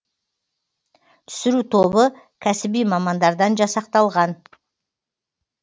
түсіру тобы кәсіби мамандардан жасақталған